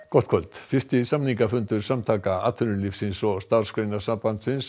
gott kvöld fyrsti samningafundur Samtaka atvinnulífsins og Starfsgreinasambandsins